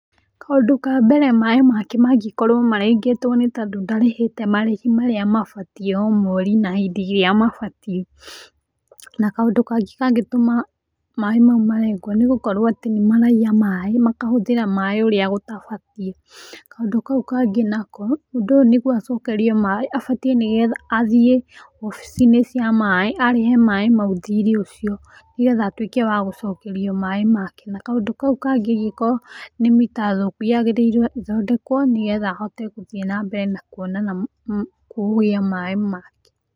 Kaũndũ ka mbere maĩ make mangĩkorwo marengetwo nĩ tondũ ndarĩhĩte marĩhi marĩa mabatiĩ o mweri na hĩndĩ ĩria mabatiĩ. Na kaũndũ kangĩ kangĩtũma maĩ mau marengwo nĩ gũkorwo atĩ nĩ maraiya maĩ makahũthĩra maĩ urĩa gũtabatiĩ. Kaũndũ kau kangĩ nako, mũndũ ũyũ nĩguo acokerio maĩ abatiĩ nĩgetha athiĩ wabici-inĩ cia maĩ arĩhe maĩ mau thirĩ ũcio nĩ getha atuĩke wa gũcokerio maĩ make. Na kaũndũ kau kangĩ angĩkorwo nĩ mita thũku yagĩrĩirwo ĩthondekwo nĩ getha ahote gĩthiĩ na mbere na kũgĩa maĩ make.